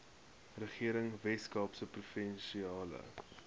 regering weskaapse provinsiale